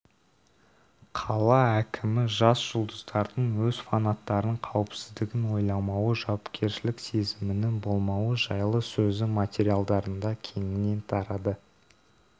қала әкімі жас жұлдыздардың өз фанаттарын қаупсіздігін ойламауы жауапкершілік сезімінің болмауы жайлы сөзі материалдарында кеңінен тарады